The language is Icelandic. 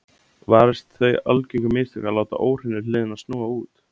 varist þau algengu mistök að láta óhreinu hliðina snúa út